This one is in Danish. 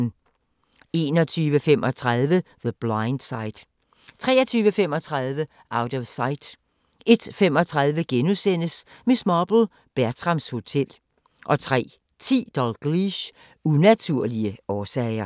21:35: The Blind Side 23:35: Out of Sight 01:35: Miss Marple: Bertrams Hotel * 03:10: Dalgliesh: Unaturlige årsager